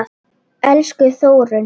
Elsku Þórunn.